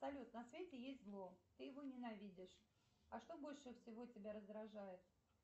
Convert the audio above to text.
салют на свете есть зло ты его ненавидишь а что больше всего тебя раздражает